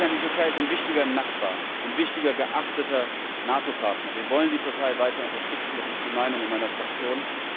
Die Türkei ist ein wichtiger Nachbar, ein wichtiger, geachteter NATO Partner. Wir wollen die Türkei weiter unterstützen, das ist die Meinung in meiner Fraktion.